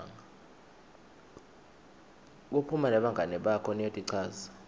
kuphuma nebangani bakho niyotichaza